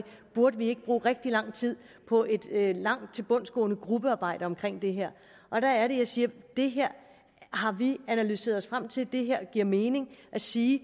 burde vi ikke bruge rigtig lang tid på et langt tilbundsgående gruppearbejde om det her og der er det jeg siger det her har vi analyseret os frem til det giver mening at sige